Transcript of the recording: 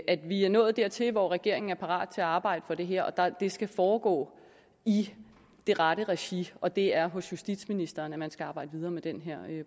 at vi er nået dertil hvor regeringen er parat til at arbejde for det her og at det skal foregå i det rette regi og det er hos justitsministeren at man skal arbejde videre med den her